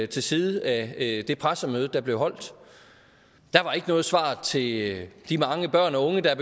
til side af det pressemøde der blev holdt der var ikke noget svar til de de mange børn og unge der